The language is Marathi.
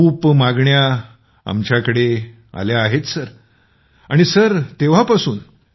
खूप मागण्या आपल्याकडे आल्या आहेत सर तेव्हापासून